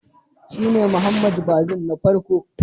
Shi ne Mohamed Bazoum